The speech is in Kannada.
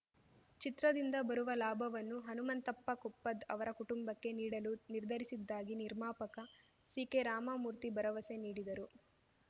ಚಿತ್ರದಿಂದ ಬರುವ ಲಾಭವನ್ನು ಹನುಮಂತಪ್ಪ ಕೊಪ್ಪದ್‌ ಅವರ ಕುಟುಂಬಕ್ಕೆ ನೀಡಲು ನಿರ್ಧರಿಸಿದ್ದಾಗಿ ನಿರ್ಮಾಪಕ ಸಿಕೆರಾಮಮೂರ್ತಿ ಭರವಸೆ ನೀಡಿದರು